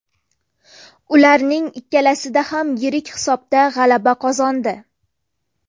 Ularning ikkalasida ham yirik hisobda g‘alaba qozondi.